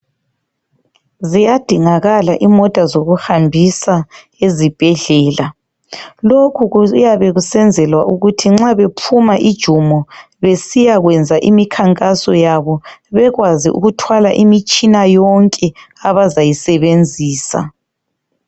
Ziyadingakala imota zokuhambisa ezibhedlela. Lokhu kuyabe kusenzelwa ukuthi nxa bephuma ijumo besiya kwenza imikhankaso yabo bekwazi ukuthwala imitshina yonke abazayisebenzisa.